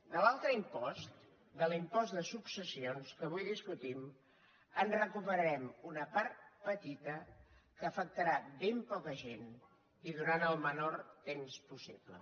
de l’altre impost de l’impost de successions que avui discutim en recuperarem una part petita que afectarà ben poca gent i durant el menor temps possible